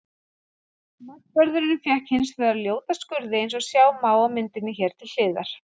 Markvörðurinn fékk hins vegar ljóta skurði eins og sjá má á myndinni hér til hliðar.